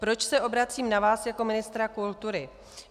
Proč se obracím na vás jako ministra kultury?